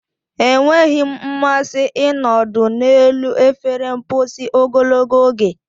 Enweghị m mmasị ịnọdụ n'elu efere mposi ogologo oge.